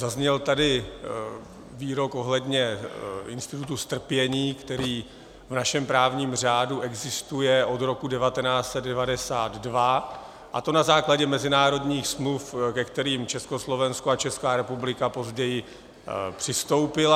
Zazněl tady výrok ohledně institutu strpění, který v našem právním řádu existuje od roku 1992, a to na základě mezinárodních smluv, ke kterým Československo a Česká republika později přistoupila.